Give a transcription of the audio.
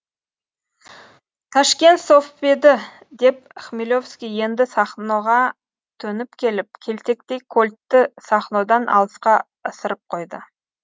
ташкент совдепі деп хмелевский енді сахноға төніп келіп келтектей кольтті сахнодан алысқа ысырып қойды